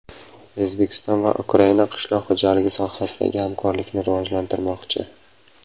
O‘zbekiston va Ukraina qishloq xo‘jaligi sohasidagi hamkorlikni rivojlantirmoqchi.